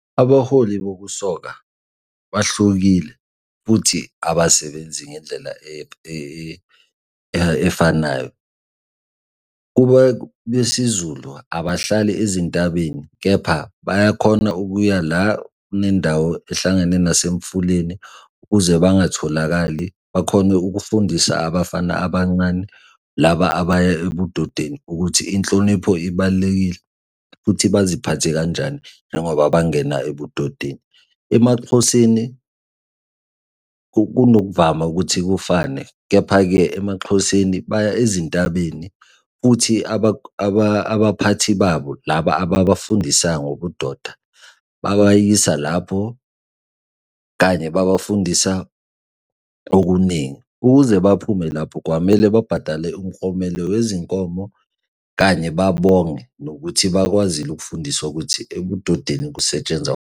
Abaholi bokusoka bahlukile futhi abasebenzi ngendlela efanayo. Kube besiZulu abahlali ezintabeni kepha bayakhona ukuya la kunendawo ehlangene nasemfuleni, ukuze bangatholakali, bakhone ukufundisa abafana abancane laba abaya ebudodeni ukuthi inhlonipho ibalulekile futhi baziphathe kanjani njengoba bangena ebudodeni. EmaXhoseni kunokuvama ukuthi kufane. Kepha-ke emaXhoseni baya ezintabeni futhi abaphathi babo laba abafundisayo ngobudoda babayise lapho kanye babafundisa okuningi. Ukuze baphume lapho kwamele babhadale umklomelo wezinkomo kanye babonge nokuthi bakwazile ukufundiswa ukuthi ebudodeni kusetshenzwa.